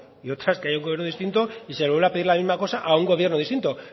y otra es que haya un gobierno distinto y se vuelva a pedir la misma cosa a un gobierno distinto